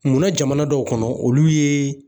Munna jamana dɔw kɔnɔ olu ye